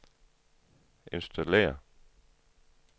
installere